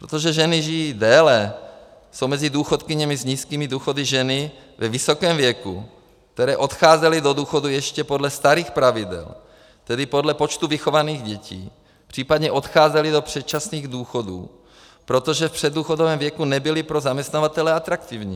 Protože ženy žijí déle, jsou mezi důchodkyněmi s nízkými důchody ženy ve vysokém věku, které odcházely do důchodu ještě podle starých pravidel, tedy podle počtu vychovaných dětí, případně odcházely do předčasných důchodů, protože v předdůchodovém věku nebyly pro zaměstnavatele atraktivní.